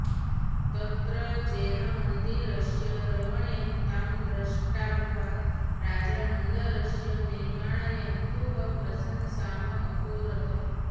तत्र जैनमन्दिरस्य रमणीयतां दृष्ट्वा राजा मन्दरस्य निर्मापयितुः प्रशंसाम् अकरोत्